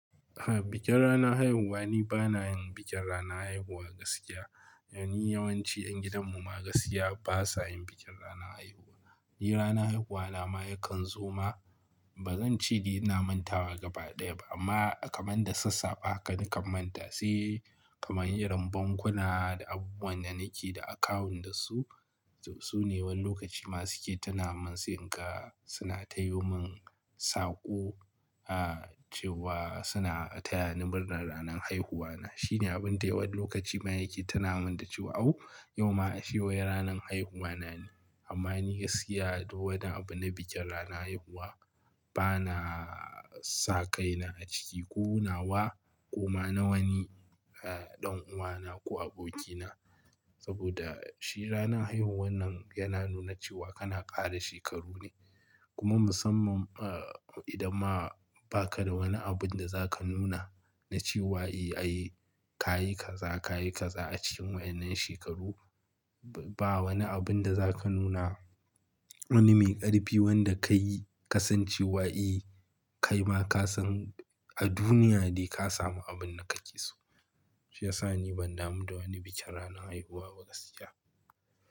Aha, bikin rana haihuwa ni bana yin bikin rana haihuwa gaskiya. Domin yawanci 'yan gidan mu ma gaskiya ba sa yin bikin rana haihuwa. Ni rana haihuwa na ma yakan zo ma, ba zan ce di na manta wa gaba ɗaya ba amma kamar da sassafe haka na kan manta. Sai kamar irin bankuna da abubuwan da nake da akawun da su, su ne wani lokaci ma suke tuna min se inga suna tayi mun saƙo, ah cewa suna taya ni murnar ranan haihuwa na. Shi ne abun da wani lokaci ma yake tina min da cewa "Au, yau ma shi waye ranan haihuwa na ne" amma ni gaskiya don abu na bikin rana haihuwa bana saƙaina a ciki. Ko nawa ko ma na wani e ɗan uwa na ko aboki na. Saboda shi rana haihuwa nan yana nuna cewa kana ƙara shekaru ne. Kuma musamman ah idan ma ba ka da wani abun da za ka nuna na cewa eh ayi ka yi kaza, ka yi kaza a cikin wa, innan shekaru, ba wani abun da za ka nuna wani mai ƙarfi wanda ka yi ka san cewa eh ka yi ma ka san a duniya dai ka samu abun da ka ƙi so. Shi ya sa ni ban damu da wani bikin rana haihuwa gaskiya.